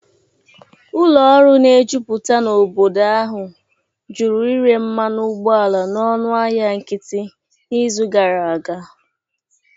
Ụlọ ọrụ na-ejuputa n'obodo ahụ jụrụ ịre mmanụ ụgbọala n'ọnụ ahịa nkịtị n'izu gara aga